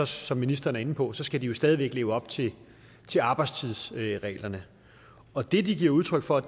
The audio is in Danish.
som ministeren er inde på skal de jo stadig væk leve op til til arbejdstidsreglerne og det de giver udtryk for